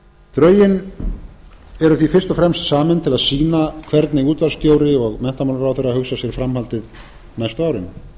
drögin eru því fyrst og fremst samin til að sýna hvernig útvarpsstjóri og menntamálaráðherra hugsa sér framhaldið næstu árin